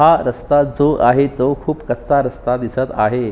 हा रस्ता जो आहे तो खुप कच्चा रस्ता दिसत आहे.